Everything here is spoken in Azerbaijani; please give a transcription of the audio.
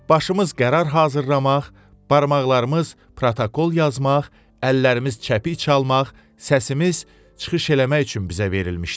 Başımız qərar hazırlamaq, barmaqlarımız protokol yazmaq, əllərimiz çəpik çalmaq, səsimiz çıxış eləmək üçün bizə verilmişdir.